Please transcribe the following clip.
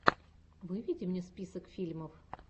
выведи мне список фильмов